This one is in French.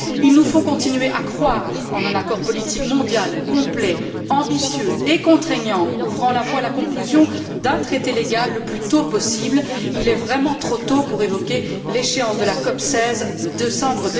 Il nous faut continuer à croire en un accord politique mondial complet, ambitieux et contraignant, ouvrant la voie à la conclusion d'un traité légal le plus tôt possible. Il est vraiment trop tôt pour évoquer l'échéance de la COP 16 de décembre